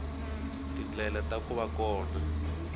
tindlela ta ku va kona